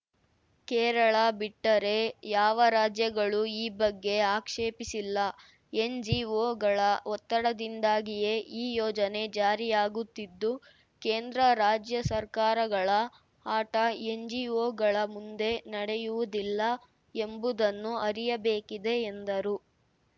ಕೇರಳ ಬಿಟ್ಟರೆ ಯಾವ ರಾಜ್ಯಗಳೂ ಈ ಬಗ್ಗೆ ಆಕ್ಷೇಪಿಸಿಲ್ಲ ಎನ್‌ಜಿಓಗಳ ಒತ್ತಡದಿಂದಾಗಿಯೇ ಈ ಯೋಜನೆ ಜಾರಿಯಾಗುತ್ತಿದ್ದು ಕೇಂದ್ರ ರಾಜ್ಯ ಸರ್ಕಾರಗಳ ಆಟ ಎನ್‌ಜಿಓಗಳ ಮುಂದೆ ನಡೆಯುವುದಿಲ್ಲ ಎಂಬುದನ್ನು ಅರಿಯಬೇಕಿದೆ ಎಂದರು